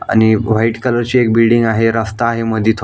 आणि white colour ची एक बिल्डिंग आहे रस्ता आहे मधून--